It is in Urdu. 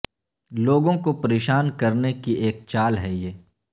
لوگوں کو پریشان کرنے کی ایک چال ہے یہ